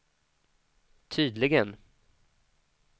tydligen